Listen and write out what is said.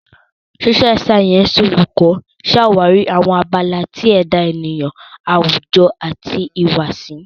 Social Sciences Oluko ṣawari awọn abala ti eda eniyan awujo ati ihuwasi.